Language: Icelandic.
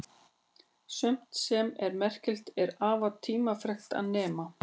Sumt sem er merkilegt er afar tímafrekt að nema.